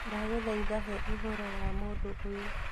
Ndagũthaitha he ũhoro wa mũndũ ũyũ